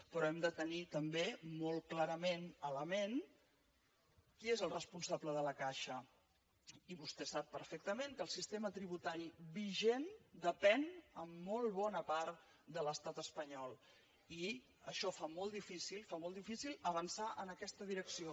però hem de tenir també molt clarament a la ment qui és el responsable de la caixa i vostè sap perfectament que el sistema tributari vigent depèn en molt bona part de l’estat espanyol i això fa molt difícil avançar en aquesta direcció